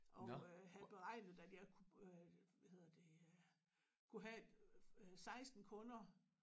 Og øh han beregnede at jeg kunne hvad hedder det kunne have 16 kunder